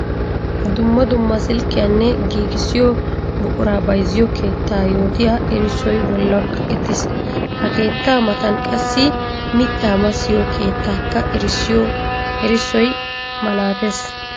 Dumma dumma silkkiyanne giigissiyo buqura bayzziyo keetta yootiya erissoy bollan kaqqettis. Ha keetta matan qassi mitta massiyo keettakka erissoy malatees.